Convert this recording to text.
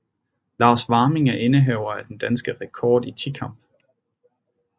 Lars Warming er indehaver af den danske rekord i tikamp